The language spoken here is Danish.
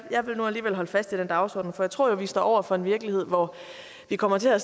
jeg vil nu alligevel holde fast i den dagsorden for jeg tror jo at vi står over for en virkelighed hvor vi kommer til at